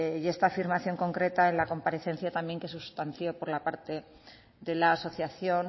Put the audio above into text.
y esta afirmación concreta en la comparecencia también que se sustanció por la parte de la asociación